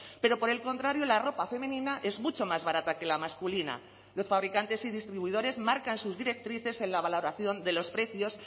pero por el contrario la ropa femenina es mucho más barata que la masculina los fabricantes y distribuidores marcan sus directrices en la valoración de los precios